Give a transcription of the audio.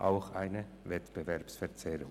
Das ist auch eine Wettbewerbsverzerrung.